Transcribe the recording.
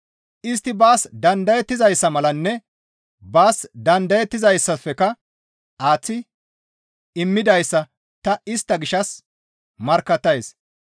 Istti baas dandayettizayssa malanne baas dandayettizayssafekka aaththi immidayssa ta istta gishshas markkattays.